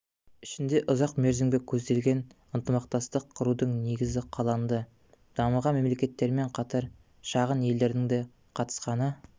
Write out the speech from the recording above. ішінде ұзақ мерзімге көзделген ынтымақтастық құрудың негізі қаланды дамыған мемлекеттермен қатар шағын елдердің де қатысқаны